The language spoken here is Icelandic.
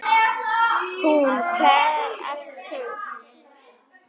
Hún: Hver ert þú?